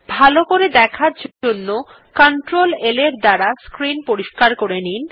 ভালো করে দেখার জন্য কন্ট্রোল L এর দ্বারা স্ক্রিন পরিস্কার করে নিন